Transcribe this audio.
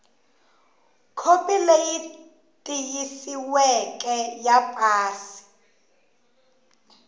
khopi leyi tiyisisiweke ya pasi